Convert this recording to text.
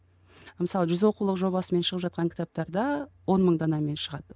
мысалы жүз оқулық жобасымен шығып жатқан кітаптар да он мың данамен шығады